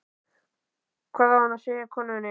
Hvað á hann að segja konunni?